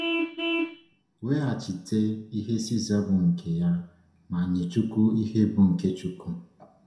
“Weghachite ihe César bụ nke ya, ma nye Chukwu ihe bụ nke Chukwu.”